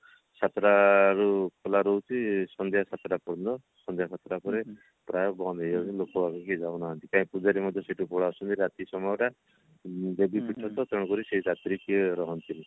ସାତଟା ରୁ ଖୋଲା ରହଚି ସନ୍ଧ୍ଯା ସାତଟା ପର୍ଯ୍ୟନ୍ତ ସନ୍ଧ୍ଯା ସାତ ଟା ପରେ ପ୍ରାୟ ବନ୍ଦ ହେଇଯାଉଛି ଲୋକ ବାକ କହି ଯାଉନାହାନ୍ତି କାହିଁକି ପୂଜାରୀ ମଧ୍ୟ ସେଠୁ ପଳେଈ ଆସନ୍ତି ରାତି ସମୟ ଟା ଦେବୀ ପୀଠ ତ ତେଣୁକରି ରାତିରେ କିଏ ରହନ୍ତିନୀ